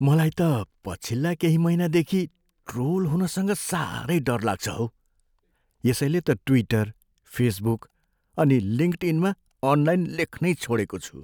मलाई त पछिल्ला केही महिनादेखि ट्रोल हुनसँग साह्रै डर लाग्छ हौ। यसैले त ट्विटर, फेसबुक अनि लिङ्कडइनमा अनलाइन लेख्नै छोडेको छु।